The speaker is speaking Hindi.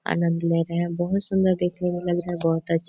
आनंद ले रहे हैं बहुत सुंदर देखने में लग रहा बहुत अच्छा--